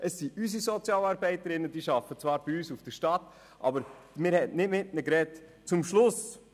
Es sind unsere Sozialarbeiterinnen, die zwar bei uns seitens der Stadt arbeiten, aber man hat nicht mit Ihnen gesprochen.